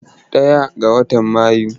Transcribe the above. Ɗaya ga watan Mayu.